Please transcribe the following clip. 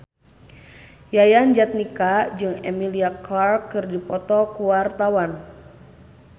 Yayan Jatnika jeung Emilia Clarke keur dipoto ku wartawan